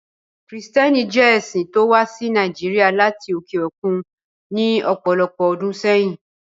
Kristiánìtì jẹ̀ ẹ̀ṣin tí o wà sí Nàìjíríà lati oke okun ní ọpọlọpọ̀ ọdún sẹ̀yin.